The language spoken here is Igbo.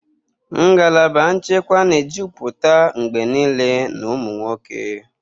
Ngalaba nchekwa na-ejupụta mgbe niile na ụmụ nwoke.